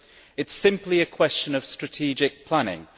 It is simply a question of strategic planning.